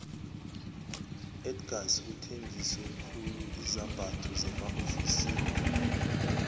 iedgars uthengiso khuluizambatho zema ofisini